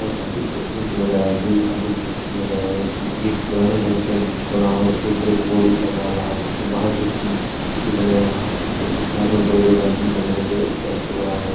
काफी खूबसूरत यह नजारा है जो इसमें काफी खूबसूरत नजारा है इसमें एक पुराने ढंग का बन हुआ है जिसके ऊपर एक बोर्ड भी टंगा हुआ है इसके बहार कुछ इसके साइड में बड़े -बड़े गार्डन बना हुआ है जो इसे अच्छा बना रह है।